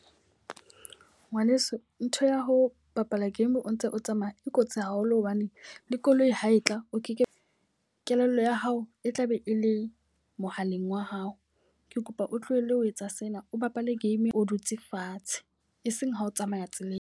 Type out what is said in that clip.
Ngwaneso, ntho ya ho bapala game o ntse o tsamaya e kotsi haholo hobane le koloi ha e tla o ke ke kelello ya hao e tlabe e le mohaleng wa hao. Ke kopa o tlohelle ho etsa sena, o bapale game o dutse fatshe e seng ha o tsamaya tseleng.